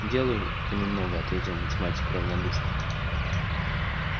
делаю понемногу ответил математик равнодушно